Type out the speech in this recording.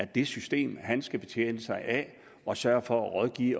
det system han skal betjene sig af og sørge for at rådgive